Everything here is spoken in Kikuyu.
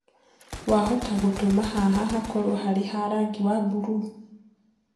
wahota gutũma haha hakorwo harĩ ha rangĩ wa burũũ